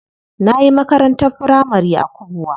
Nayi makarantar firamari a Kubwa.